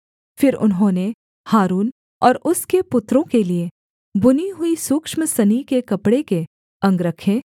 फिर उन्होंने हारून और उसके पुत्रों के लिये बुनी हुई सूक्ष्म सनी के कपड़े के अंगरखे